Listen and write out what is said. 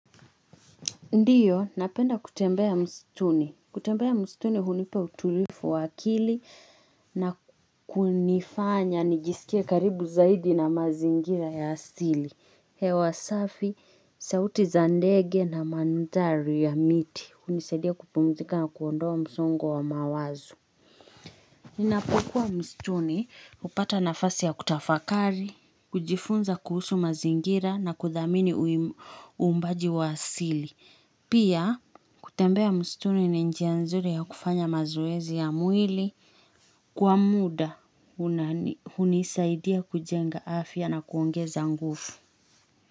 Ndiyo, napenda kutembea msituni. Kutembea msituni hunipa utuluifu wa akili na kunifanya nijisikie karibu zaidi na mazingira ya asili hewasafi, sauti zandege na mandhari ya miti. Hunisadia kupumzika na kuondoa msongo wa mawazo. Nina pokwa msituni, upata na fasi ya kutafakari, kujifunza kuhusu mazingira na kudhamini uumbaji wa asili Pia, kutembea msituni ni njia nzuri ya kufanya mazoezi ya mwili. Kwa muda, hunisadia kujenga afya na kuongeza nguvu.